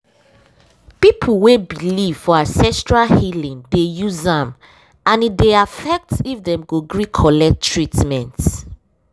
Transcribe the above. people wey believe for ancestral healing dey use am and e dey affect if dem go gree collect treatment.